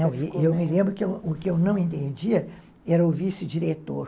Não, eu me lembro que o que eu não entendia era o vice-diretor.